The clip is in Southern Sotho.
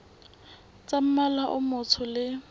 tsa mmala o motsho le